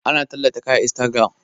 Ana tallata kaya a instagiram